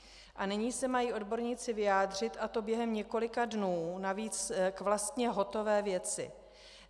A nyní se mají odborníci vyjádřit, a to během několika dnů, navíc vlastně k hotové věci.